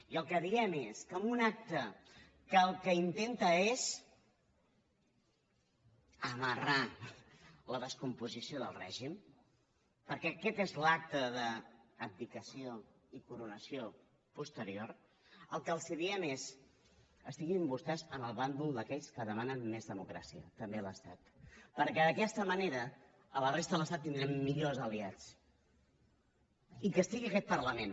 i el que diem és que en un acte que el que intenta és amarrar la descomposició del règim perquè aquest és l’acte d’abdicació i coronació posterior el que els diem és estiguin vostès en el bàndol d’aquells que demanen més democràcia també a l’estat perquè d’aquesta manera a la resta de l’estat tindrem millors aliats i que hi estigui aquest parlament